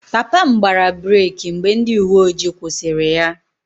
Papa m gbara breeki mgbe ndị uwe ojii kwụsịrị ya